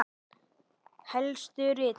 Helstu ritverk